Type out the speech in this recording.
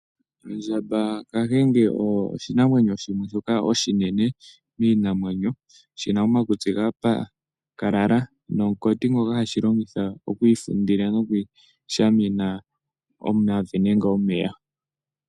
Ondjamba oyo oshinamwenyo oshinene miinamwenyo shina omakutsi gapakalala, nomunkoti ngoka hashilongitha okwiifundila nokwiishamina omavi nenge omeya.